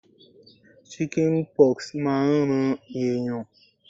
Chicken pox máa ń ran ẹ̀yàn.